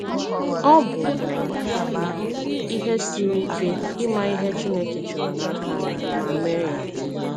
Ọ̀ bụ̀ ihe siri ike ịmà ihe Chineke chọrọ̀ n’aka anyị, ma mee ya?